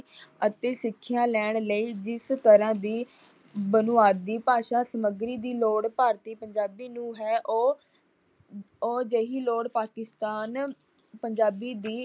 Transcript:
ਅਤੇ ਸਿੱਖਿਆ ਲੈਣ ਲਈ ਜਿਸ ਤਰ੍ਹਾਂ ਦੀ ਬੁਨਿਆਦੀ ਭਾਸ਼ਾ ਸਮੱਗਰੀ ਦੀ ਲੋੜ ਭਾਰਤੀ ਪੰਜਾਬੀ ਨੂੰ ਹੈ ਉਹ ਉਹ ਅਜਿਹੀ ਲੋੜ ਪਾਕਿਸਤਾਨ ਪੰਜਾਬੀ ਦੀ